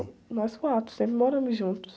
Nós quatro, sempre moramos juntos.